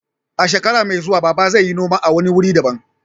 A shekara mai zuwa, Baba zai yi noma a wani wuri daban.